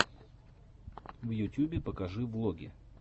в ютюбе покажи влоги